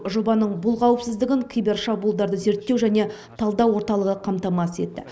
жобаның бұл қауіпсіздігін кибершабуылдарды зерттеу және талдау орталығы қамтамасыз етті